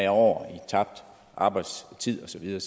år i tabt arbejdstid og så videre